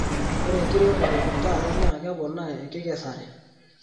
Ore enkiremore e tata naa keponaa enkikesare.